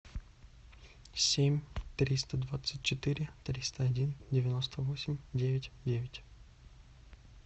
семь триста двадцать четыре триста один девяносто восемь девять девять